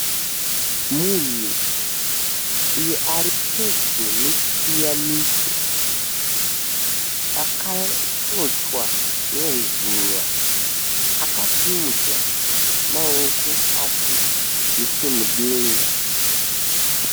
Munhu uyu ari pedyo nechipiyaniso akatochwa nezuva akasimudza maoko ake nechemudenga.